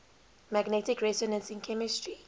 magnetic resonance in chemistry